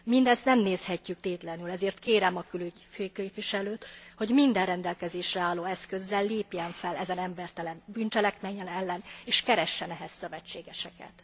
Mindezt nem nézhetjük tétlenül, ezért kérem a külügyi főképviselőt, hogy minden rendelkezésre álló eszközzel lépjen fel ezen embertelen bűncselekmények ellen és keressen ehhez szövetségeseket.